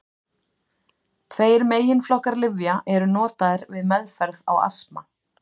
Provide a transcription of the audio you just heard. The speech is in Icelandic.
Tveir meginflokkar lyfja eru notaðir við meðferð á astma.